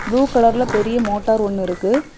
Blue கலர்ல பெரிய motor ஒன்னு இருக்கு.